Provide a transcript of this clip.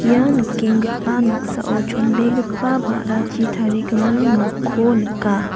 ia nikenggipa noksao chonbegipa ba·rachi tarigimin nokko nika.